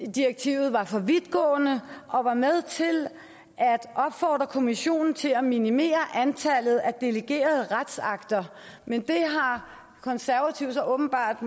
direktivet var for vidtgående og var med til at opfordre kommissionen til at minimere antallet af delegerede retsakter men det har konservative så åbenbart